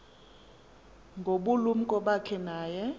ngobulumko bakhe naye